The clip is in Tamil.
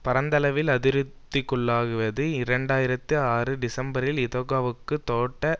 பரந்தளவில் அதிருப்திக்குள்ளாகியுள்ளது இரண்டு ஆயிரத்தி ஆறு டிசம்பரில் இதொகா வுக்கும் தோட்ட